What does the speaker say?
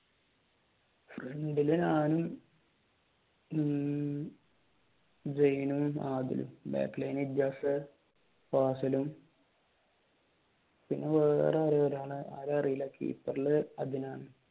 Front ഇൽ ഞാനും ഉം സൈനും ആദിലും backline ഇൽ ഇജാസ് ഫാസിലും പിന്നെ ആരേം അറിയില്ല കീപ്പറിൽ അതിനാൻ